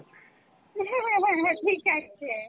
ঠিক আছে